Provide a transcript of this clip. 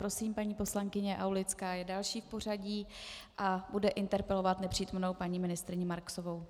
Prosím, paní poslankyně Aulická je další v pořadí a bude interpelovat nepřítomnou paní ministryni Marksovou.